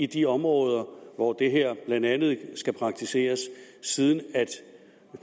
de områder hvor det her blandt andet skal praktiseres siden